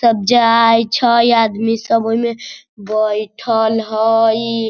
सब जगह आय छाई इ आदमी सब ओइमे बइठल हअई।